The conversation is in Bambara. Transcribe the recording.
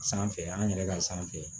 Sanfɛ an yɛrɛ ka sanfɛ